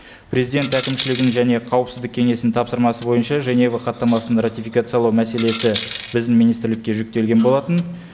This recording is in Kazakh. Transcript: президент әкімшілігінің және қауіпсіздік кеңесінің тапсырмасы бойынша женева хаттамасын ратификациялау мәселесі біздің министрлікке жүктелген болатын